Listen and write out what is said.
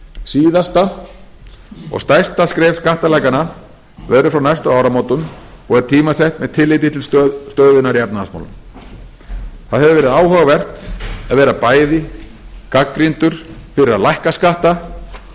síðasta og stærsta skref skattalækkana verður frá næstu áramótum og er tímasett með tilliti til stöðunnar í efnahagsmálum það hefur verið áhugavert að vera bæði gagnrýndur fyrir að lækka skatta og fá